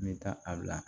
N bɛ taa a bila